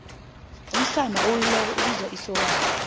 umsana owelileko ibizwa isokana